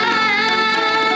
Əli!